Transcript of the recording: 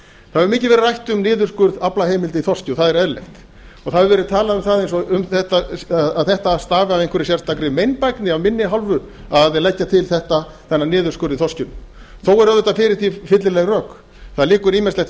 það hefur mikið verið rætt um niðurskurð aflaheimilda í þorski og það er eðlilegt það hefur verið talað um þetta eins og þetta stafaði af einhverri sérstakri meinbægni af minni hálfu að leggja til þennan niðurskurð í þorskinum þó eru auðvitað fyrir því fyllileg rök það liggur ýmislegt